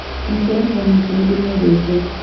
Mũciaranĩro nake nĩndĩmwedete.